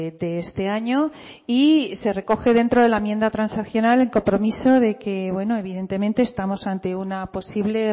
de este año y se recoge dentro de la enmienda transaccional el compromiso de que bueno evidentemente estamos ante una posible